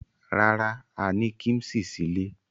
Rárá, a ní kíḿṣì sílé.